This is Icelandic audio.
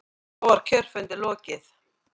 Þá var kjörfundi lokið.